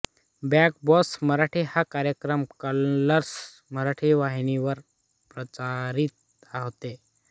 big Boss Marathi हा कार्यक्रम Colors Marathi वाहिनीवर प्रसारित होतो